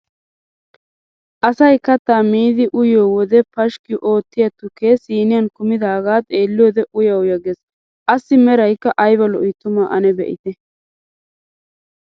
Asay kattaa miidi uyiyo wode pashikki oottiya tukkee siiniyaan kummidaaga xeeliyode uya uya gees, assi meraykka ayba lo"i tuma ane be'itte.